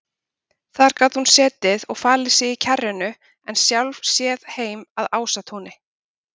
Þar gat hún setið og falið sig í kjarrinu en sjálf séð heim að Ásatúni.